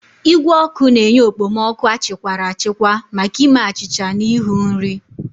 Igwe ọkụ na-enye okpomọkụ achịkwara achikwa maka ime achịcha na ịhu nri.